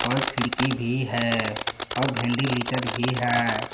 खिड़की भी है और वेंटिलेटर भी है।